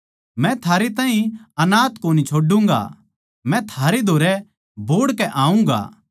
मै थारै ताहीं अनाथ कोनी छोडूँगा मै थारै धोरै बोहड़ के आऊँगा